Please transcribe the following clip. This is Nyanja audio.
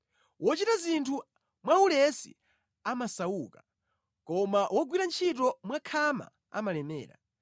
Wochita zinthu mwaulesi amasauka, koma wogwira ntchito mwakhama amalemera.